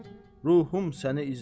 ruhumm səni izlər.